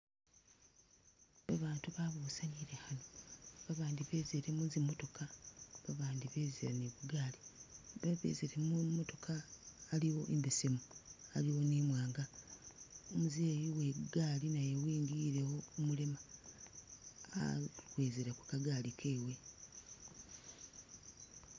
Ba batu babusanile ano ba bandi bezile muzi motoka ba bandi bezile ni bugaali ba bezile mumotoka aliwo imbesemu, aliwo ni i mwanga u muzei uwe gaali naye wingilewo umulema a uwizile ku kagaali kewe.